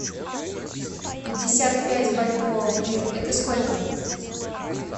пятьдесят пять бальбоа в лиры это сколько